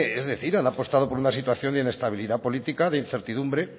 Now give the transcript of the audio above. es decir han apostado por una situación de inestabilidad política de incertidumbre